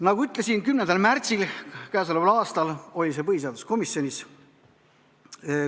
Nagu ütlesin, k.a 10. märtsil oli see eelnõu põhiseaduskomisjonis.